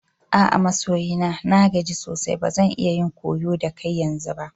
A'a masoyi na. Na gaji sosai ba zan iya yin koyo da kai yanzu ba.